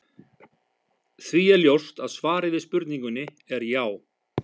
Því er ljóst að svarið við spurningunni er já.